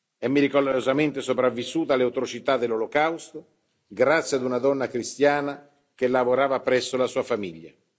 È miracolosamente sopravvissuta alle autorità dell'Olocausto grazie ad una donna cristiana che lavorava presso la sua famiglia.